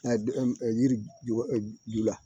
A yiri ju la